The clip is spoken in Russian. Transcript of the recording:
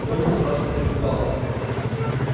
конюх страшно перепугался